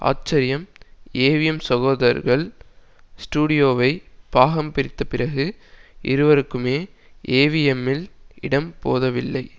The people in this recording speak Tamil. ஆச்சரியம் ஏவிஎம் சகோதரர்கள் ஸ்டுடியோவை பாகம் பிரித்த பிறகு இருவருக்குமே ஏவிஎம்மில் இடம் போதவில்லை